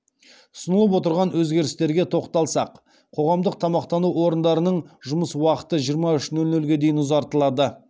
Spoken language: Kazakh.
ұсынылып отырған өзгерістерге тоқталсақ қоғамдық тамақтану орындарының жұмыс уақыты жиырма үш нөл нөлге дейін ұзартылады